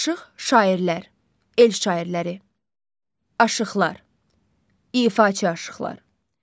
Aşıq şairlər, el şairləri, aşıqlar, ifaçı aşıqlar.